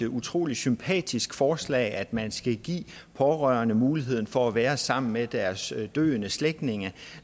utrolig sympatisk forslag altså at man skal give pårørende muligheden for at være sammen med deres døende slægtninge